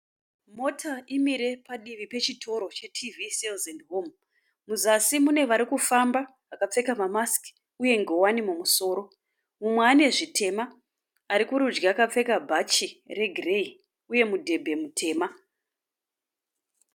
Mota imire padivi pechitoro cheTVsales and home. Muzasi mune varikufamba vakapfeka mamask uye ngowani mumusoro. Mumwe anezvitema arikurudyi akapfeka bhachi regireyi uye mudhebhe mutema.